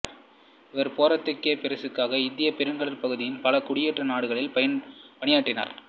இவர் போர்த்துக்கேயப் பேரரசுக்காக இந்தியப் பெருங்கடற்பகுதியின் பல குடியேற்ற நாடுகளில் பணியாற்றினார்